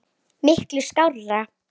Miklu skárra.